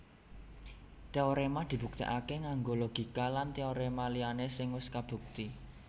Téoréma dibuktèkaké nganggo logika lan téoréma liyané sing wis kabukti